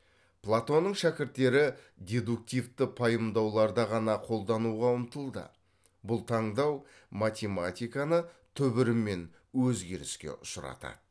платонның шәкірттері дедуктивті пайымдауларды ғана қолдануға ұмтылды бұл таңдау математиканы түбірімен өзгеріске ұшыратады